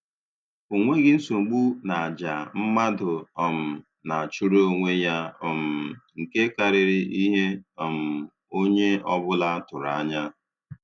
Ọ nweghị nsogbu na àjà mmadụ um na-achụrụ onwe ya um nke karịrị ihe um onye ọbụla tụrụ anya